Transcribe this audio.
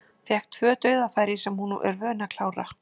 Fékk tvö dauðafæri sem hún er vön að klára.